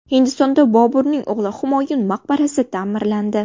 Hindistonda Boburning o‘g‘li Humoyun maqbarasi ta’mirlandi .